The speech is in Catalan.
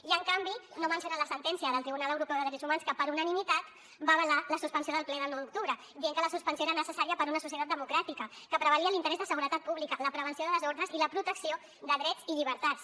i en canvi no mencionen la sentència del tribunal europeu de drets humans que per unanimitat va avalar la suspensió del ple del nou d’octubre dient que la suspensió era necessària per a una societat democràtica que prevalia l’interès de seguretat pública la prevenció de desordres i la protecció de drets i llibertats